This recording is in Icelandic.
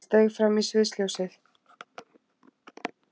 Hann steig fram í sviðsljósið.